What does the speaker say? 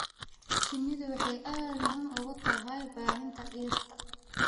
Shinnidu waxay aad muhiim ugu tahay baahinta dhirta.